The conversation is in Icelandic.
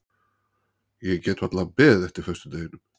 Ég get varla beðið eftir föstudeginum.